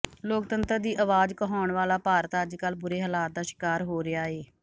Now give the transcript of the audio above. ਲੋਕਤੰਤਰ ਦੀ ਆਵਾਜ਼ ਕਹਾਉਣ ਵਾਲਾ ਭਾਰਤ ਅੱਜਕੱਲ੍ਹ ਬੁਰੇ ਹਾਲਾਤ ਦਾ ਸ਼ਿਕਾਰ ਹੋ ਰਿਹਾ ਏ